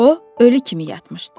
O, ölü kimi yatmışdı.